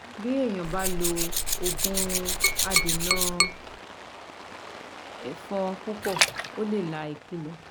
Bí èèyàn bá lo òògùn adènà ẹ̀fọn púpọ̀ ó lè la ikú lọ